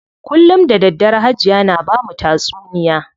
Kullum da daddare Hajiya na bamu tatsuniya.